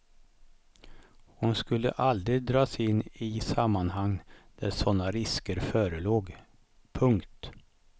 Hon skulle aldrig dras in i sammanhang där såna risker förelåg. punkt